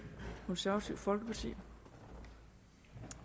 konservative folkeparti